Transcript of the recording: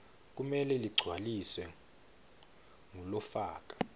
kumele ligcwaliswe ngulofaka